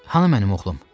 Hanı mənim oğlum?